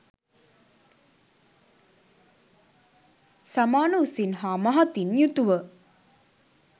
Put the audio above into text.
සමාන උසින් හා මහතින් යුතුව